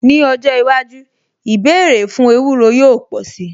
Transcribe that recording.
Ní ọjọ́ iwájú, ìbéèrè fún ewúro yóò pò sí.